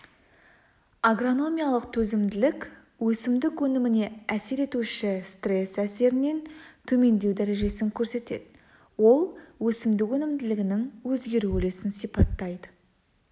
агрономиялық төзімділік өсімдік өніміне әсер етуші стресс әсерінен төмендеу дәрежесін көрсетеді ол өсімдік өнімділігінің өзгеру үлесін сипаттайды